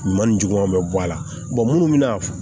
Ɲuman ni juguman bɛ bɔ a la munnu bɛna